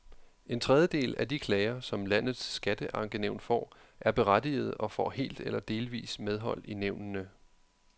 En tredjedel af de klager, som landets skatteankenævn får, er berettigede og får helt eller delvis medhold i nævnene.